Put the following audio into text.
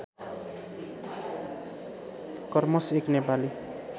karmas एक नेपाली